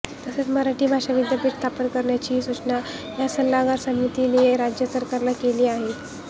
तसेच मराठी भाषा विद्यापीठ स्थापन करण्याचीही सूचनाही या सल्लागार समितीने राज्य सरकारला केली आहे